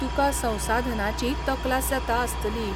तुका संसाधनांचीय तकलास जाता आसतली.